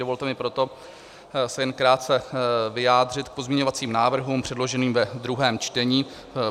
Dovolte mi proto se jen krátce vyjádřit k pozměňovacím návrhům, předloženým ve druhém čtení.